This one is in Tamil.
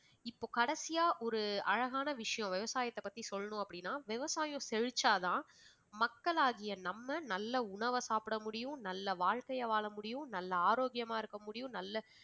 இப்போ கடைசியா ஒரு அழகான விஷயம் விவசாயத்தைப் பத்தி சொல்லணும் அப்படின்னா விவசாயம் செழிச்சாதான் மக்களாகிய நம்ம நல்ல உணவ சாப்பிடமுடியும் நல்ல வாழ்க்கையை வாழ முடியும் நல்ல ஆரோக்கியமா இருக்க முடியும் நல்ல